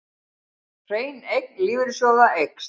Hrein eign lífeyrissjóða eykst